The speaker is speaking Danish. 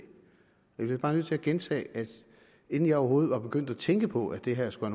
jeg bliver bare nødt til at gentage at inden jeg overhovedet var begyndt at tænke på at det her skulle